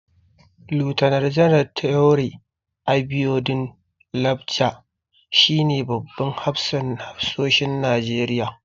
Laftanar Janar Taoreed Abiodun Lagbaja shi ne babban hafsan hafsoshin Najeriya.